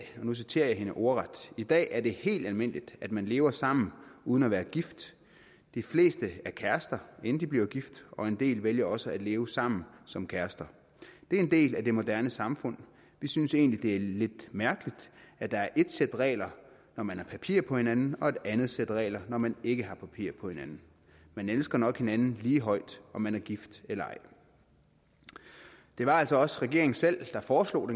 nu citerer jeg hende ordret i dag er det helt almindeligt at man lever sammen uden at være gift de fleste er kærester inden de bliver gift og en del vælger også at leve sammen som kærester det er en del af det moderne samfund vi synes egentlig det er lidt mærkeligt at der er ét sæt regler når man har papir på hinanden og et andet sæt regler når man ikke har papir på hinanden man elsker nok hinanden lige højt om man er gift eller ej det var altså også regeringen selv der foreslog